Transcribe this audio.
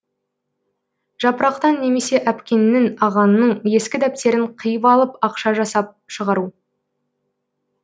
жапырақтан немесе әпкеңнің ағаңның ескі дәптерін қиып алып ақша жасап шығару